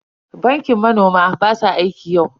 Bankin manoman ba su aiki yau.